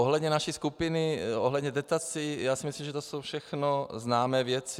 Ohledně naší skupiny, ohledně dotací, já si myslím, že to jsou všechno známé věci.